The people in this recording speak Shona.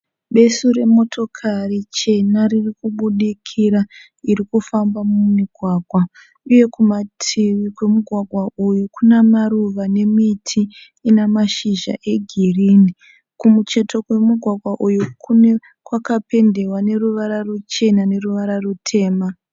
Besu remotokari chena riri kubudikira iri kufamba mumugwagwa uye kumativi kwemugwagwa uyu kuna maruva nemiti ina mashizha egirini. Kumucheto kwemugwagwa uyu kwakapendewa neruvara ruchena neruvara rutema.